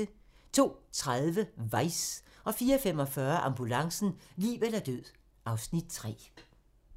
04:45: Ambulancen - liv eller død (Afs. 3)